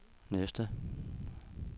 næste